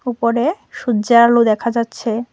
উপরে সূর্যের আলো দেখা যাচ্ছে।